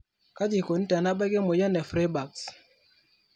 kaji eikoni tenebaki emoyian e Freiberg's ?